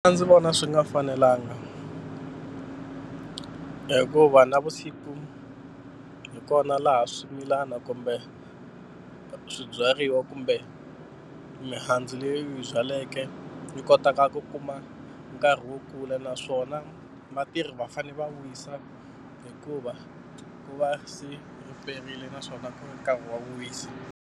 A ndzi vona swi nga fanelanga hikuva navusiku hi kona laha swimilana kumbe swibyariwa kumbe mihandzu leyi u yi byaleke yi kotaka ku kuma nkarhi wo kula naswona vatirhi va fanele va wisa hikuva ku va se riperile naswona ka nkarhi wa ku wisa.